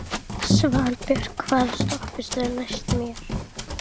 Svanbjörn, hvaða stoppistöð er næst mér?